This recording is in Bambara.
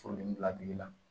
Furudimi bila duguma